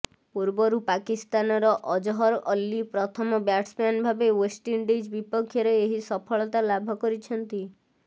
ପୂର୍ବରୁ ପାକିସ୍ତାନର ଅଜହର ଅଲୀ ପ୍ରଥମ ବ୍ୟାଟ୍ସମ୍ୟାନ୍ ଭାବେ େଓ୍ବଷ୍ଟଇଣ୍ଡିଜ ବିପକ୍ଷରେ ଏହି ସଫଳତା ଲାଭ କରିଛନ୍ତି